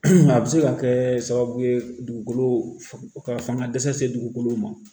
a bɛ se ka kɛ sababu ye dugukolo ka fanga dɛsɛ dugukolo ma